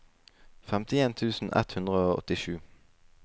femtien tusen ett hundre og åttisju